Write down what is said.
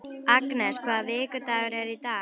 Agnes, hvaða vikudagur er í dag?